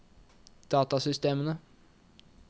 datasystemene